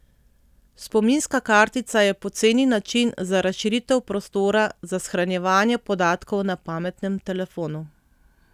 Spominska kartica je poceni način za razširitev prostora za shranjevanje podatkov na pametnem telefonu.